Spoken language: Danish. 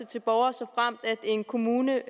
til borgere såfremt en kommune